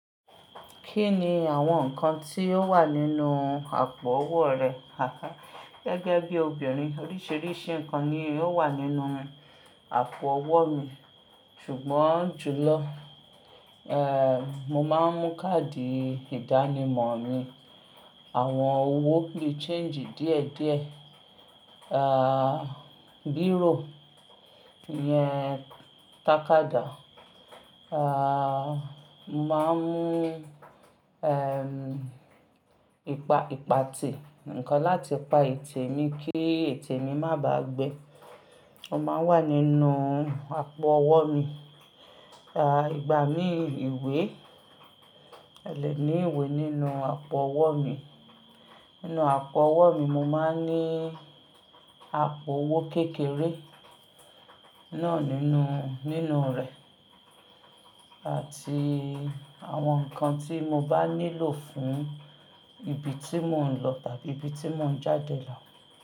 Kí ni àwọn nǹkan tí ó wà nínú àpò owó rẹ? Àká, gẹ́gẹ́ bí obìnrin oríṣiríṣi nǹkan ni ó wà nínú àpò ọwọ́ mi, ṣùgbọ́n jùlọ, eh, mo máa ń mú káàdì ìdánimọ̀ mi, àwọn owó biì ṣeǹjì díẹ̀díẹ̀, ah, bírò yẹn tàkádà, ah, mo máa ń mú, eh, ìpa-ìpatè, nǹkan láti pa ètè mi kí ètè mi má bá gbe. Ó máa wà nínú àpò ọwọ́ mi. Ah, ìgbà mí ìwé, ẹlẹ́mìí ìwé nínú àpò owó mi. Nínú àpò ọwọ́ mi, mo máa ń ní àpò owó kékeré náà nínú, nínú rẹ̀ àti àwọn nǹkan tí mo bá nílò fún ibi tí mò ń lọ tàbí ibi tí mò ń jáde lọ.